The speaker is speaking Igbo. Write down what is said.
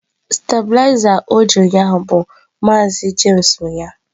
Stabilizer o ji ụnyaahụ bụ maazi james nwe ya